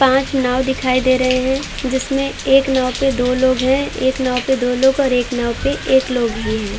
पॉँच नाव दिखाई दे रहे हैं जिसमें एक नाव पे दो लोग हैं। एक नाव पे दो लोग और एक नाव पे एक लोग ही हैं।